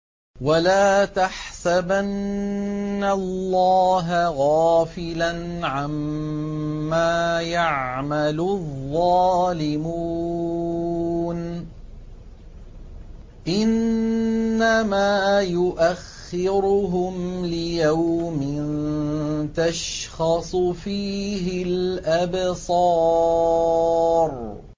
وَلَا تَحْسَبَنَّ اللَّهَ غَافِلًا عَمَّا يَعْمَلُ الظَّالِمُونَ ۚ إِنَّمَا يُؤَخِّرُهُمْ لِيَوْمٍ تَشْخَصُ فِيهِ الْأَبْصَارُ